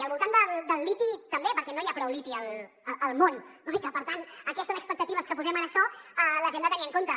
i al voltant del liti també perquè no hi ha prou liti al món no i que per tant aquestes expectatives que posem en això les hem de tenir en compte